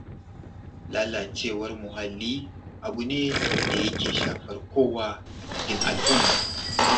Lalacewar muhalli abu ne da yake shafar kowa a cikin al'umma.